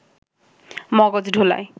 মগজ ধোলাই